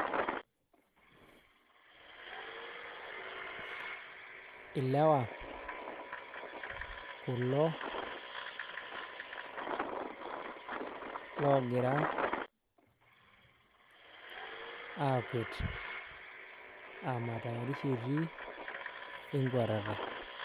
Ilewa kulo loogira aakwet aa matayarisho etii enkwatata.